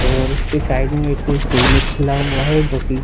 और उसके साइड में एक क्लिनिक खुला हुआ है जो की --